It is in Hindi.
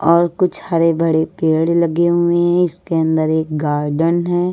और कुछ हरे भड़े पेड़ लगे हुए है इसके अंदर एक गार्डन है।